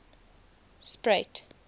spruit